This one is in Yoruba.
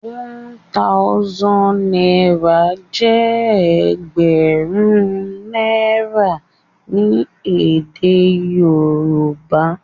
One thousand náírà jé ẹgbẹrun náírà ní èdè Yorùbá